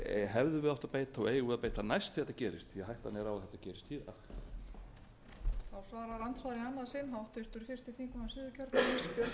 hefðum við átt að beita og eigum að beita næst þegar þetta gerist því hætta er á að þetta gerist aftur síðar